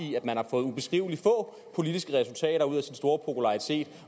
i at man har fået ubeskrivelig få politiske resultater ud af sin store popularitet